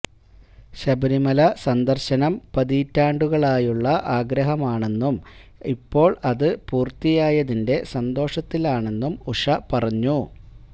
ശബരിമല സന്ദര്ശനം പതിറ്റാണ്ടുകളായുള്ള ആഗ്രഹമാണെന്നും ഇപ്പോള് അത് പൂര്ത്തിയായതിന്റെ സന്തോഷത്തിലാണെന്നും ഉഷ പറഞ്ഞു